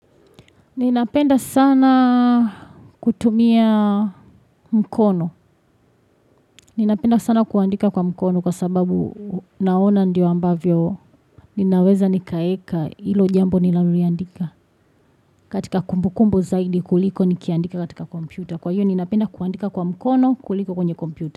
Ninapenda sana kutumia mkono. Ninapenda sana kuandika kwa mkono kwa sababu naona ndio ambavyo ninaweza nikaeka hilo jambo niloliandika katika kumbu kumbu zaidi kuliko nikiandika katika kompyuta. Kwa hiyo ninapenda kuandika kwa mkono kuliko kwenye kompyuta.